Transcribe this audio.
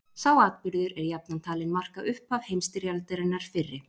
Sá atburður er jafnan talinn marka upphaf heimsstyrjaldarinnar fyrri.